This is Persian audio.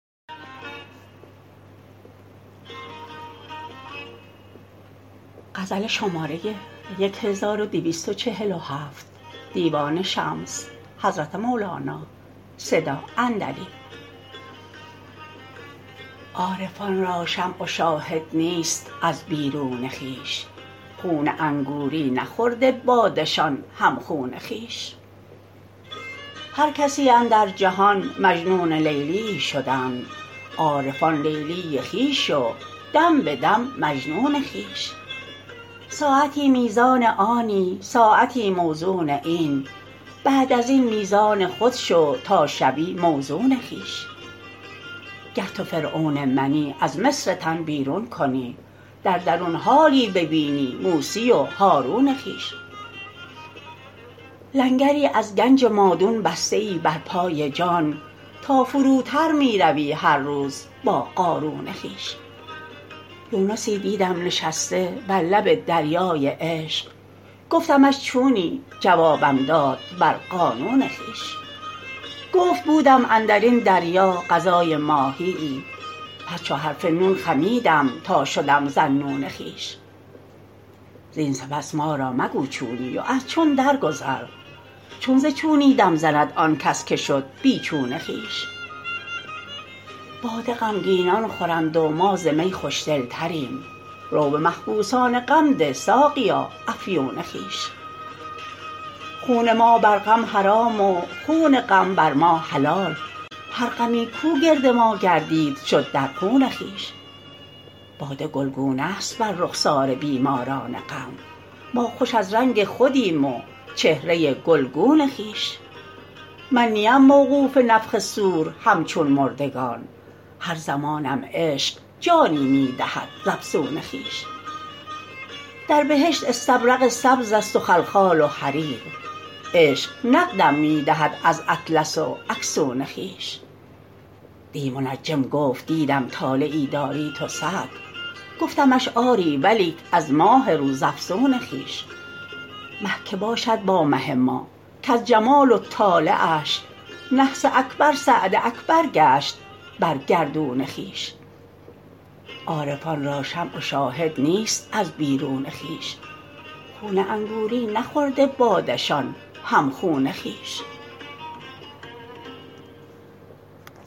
عارفان را شمع و شاهد نیست از بیرون خویش خون انگوری نخورده باده شان هم خون خویش هر کسی اندر جهان مجنون لیلیی شدند عارفان لیلی خویش و دم به دم مجنون خویش ساعتی میزان آنی ساعتی موزون این بعد از این میزان خود شو تا شوی موزون خویش گر تو فرعون منی از مصر تن بیرون کنی در درون حالی ببینی موسی و هارون خویش لنگری از گنج مادون بسته ای بر پای جان تا فروتر می روی هر روز با قارون خویش یونسی دیدم نشسته بر لب دریای عشق گفتمش چونی جوابم داد بر قانون خویش گفت بودم اندر این دریا غذای ماهیی پس چو حرف نون خمیدم تا شدم ذاالنون خویش زین سپس ما را مگو چونی و از چون درگذر چون ز چونی دم زند آن کس که شد بی چون خویش باده غمگینان خورند و ما ز می خوش دلتریم رو به محبوسان غم ده ساقیا افیون خویش خون ما بر غم حرام و خون غم بر ما حلال هر غمی کو گرد ما گردید شد در خون خویش باده گلگونه ست بر رخسار بیماران غم ما خوش از رنگ خودیم و چهره گلگون خویش من نیم موقوف نفخ صور همچون مردگان هر زمانم عشق جانی می دهد ز افسون خویش در بهشت استبرق سبزست و خلخال و حریر عشق نقدم می دهد از اطلس و اکسون خویش دی منجم گفت دیدم طالعی داری تو سعد گفتمش آری ولیک از ماه روزافزون خویش مه که باشد با مه ما کز جمال و طالعش نحس اکبر سعد اکبر گشت بر گردون خویش